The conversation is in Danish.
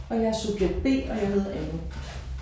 Og jeg er subjekt B og jeg hedder Anne